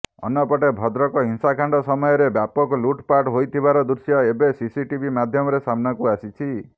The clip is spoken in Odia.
ଅନ୍ୟପଟେ ଭଦ୍ରକ ହିଂସାକାଣ୍ଡ ସମୟରେ ବ୍ୟାପକ ଲୁଟପାଟ୍ ହୋଇଥିବାର ଦୃଶ୍ୟ ଏବେ ସିସିଟିଭି ମାଧ୍ୟମରେ ସମ୍ନାକୁ ଆସିଛି